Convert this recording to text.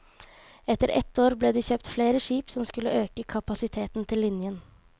Etter et år ble det kjøpt flere skip som skulle øke kapasiteten til linjen.